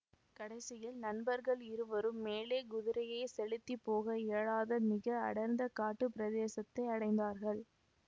கடைசியில் நண்பர்கள் இருவரும் மேலே குதிரையை செலுத்திப் போக இயலாத மிக அடர்ந்த காட்டுப் பிரதேசத்தை அடைந்தார்கள்